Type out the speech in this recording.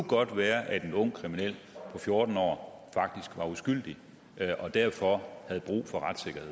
godt være at en ung kriminel på fjorten år faktisk var uskyldig og derfor havde brug for